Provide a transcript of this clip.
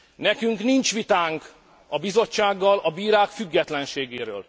Nekünk nincs vitánk a Bizottsággal a bírák függetlenségéről.